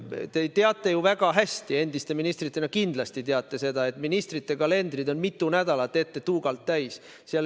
Te teate ju väga hästi, ka endise ministrina te kindlasti teate, et ministrite kalendrid on mitu nädalat ette tuugalt täis.